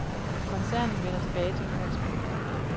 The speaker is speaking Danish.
Koncernen vender tilbage til udgangspunktet.